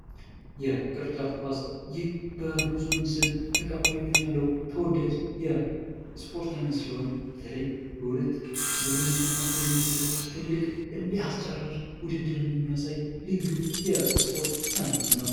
የቅርጫት ኳስ ይህ በብዙው ዘንድ ተቀባይነት ያለው ተወዳጅ የስፖርት አይነት ሲሆን በተለይ በሁለት ቡድኖች መካክለ የሚደረግ እልህ አስጨራሽ ወድድርን የሚያሳይ ልዩ የስፖርት አይነት ነው።